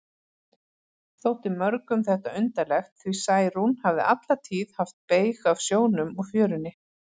Þótti mörgum þetta undarlegt, því Særún hafði alla tíð haft beyg af sjónum og fjörunni.